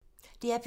DR P2